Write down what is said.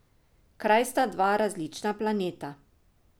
Kraj sta dva različna planeta.